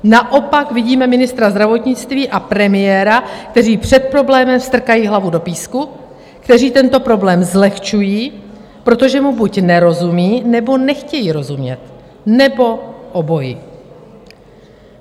Naopak vidíme ministra zdravotnictví a premiéra, kteří před problémem strkají hlavu do písku, kteří tento problém zlehčují, protože mu buď nerozumí, nebo nechtějí rozumět, nebo obojí.